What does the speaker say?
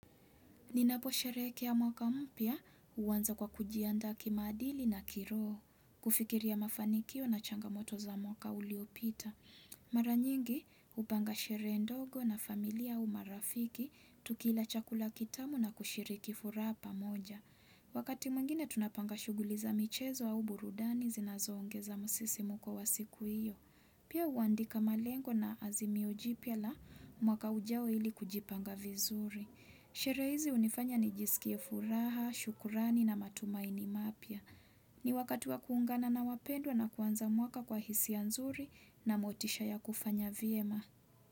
Ninapo sherehekea mwaka mpya huwanza kwa kujiandaa kimaadili na kiroho, kufikiri mafanikio na changamoto za mwaka uliopita. Maranyingi hupanga sherehe ndogo na familia au marafiki, tukila chakula kitamu na kushiriki furaha pamoja. Wakati mwingine tunapanga shughuli za michezo au burudani zinazo ongeza musisimuko wa siku hiyo. Pia huwandika malengo na azimio jipya la mwaka ujao ili kujipanga vizuri. Sherehe hizi hunifanya nijisikie furaha, shukurani na matumaini mapya. Ni wakati wa kuungana na wapendwa na kuanza mwaka kwa hisia ya nzuri na motisha ya kufanya vyema.